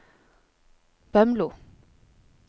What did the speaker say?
Bømlo